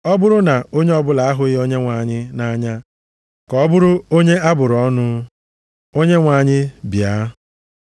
Ọ bụrụ na onye ọbụla ahụghị Onyenwe anyị nʼanya, ka ọ bụrụ onye a bụrụ ọnụ. Onyenwe anyị bịa!